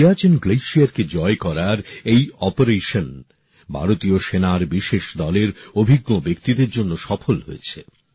সিয়াচেন হিমবাহকে জয় করার এই অভিযান ভারতীয় সেনার বিশেষ দলের অভিজ্ঞ ব্যক্তিদের জন্য সফল হয়েছে